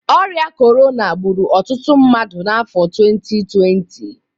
Ọrịa Corona gbụrụ ọtụtụ mmadụ n'afọ 2020